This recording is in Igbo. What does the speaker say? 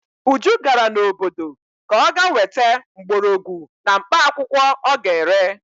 Uju gara n'obodo ka ọ ga-weta mgborogwu na mkpaakwụkwọ ọ ga-ere.